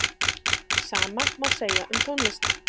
Sama má segja um tónlist.